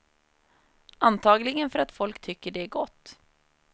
Antagligen för att folk tycker det är gott.